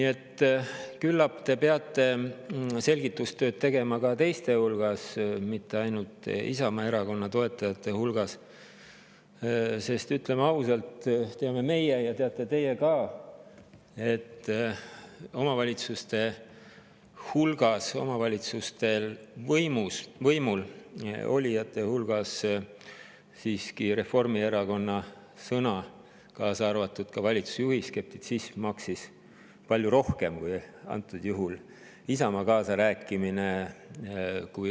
Seega, küllap te peate selgitustööd tegema ka teiste hulgas, mitte ainult Isamaa Erakonna toetajate hulgas, sest, ütleme ausalt, teame meie ja teate ka teie, et omavalitsustes võimul olijate hulgas maksis Reformierakonna sõna, sealhulgas valitsusjuhi skeptitsism, palju rohkem kui Isamaa kaasarääkimine.